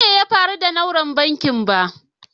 Ban san abin da ya faru da nauran banking ba.